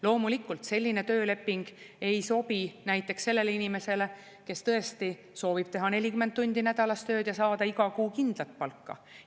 Loomulikult, selline tööleping ei sobi näiteks sellele inimesele, kes tõesti soovib teha 40 tundi nädalas tööd ja saada iga kuu kindlat palka.